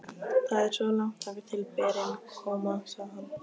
Það er svo langt þangað til berin koma, segir hann.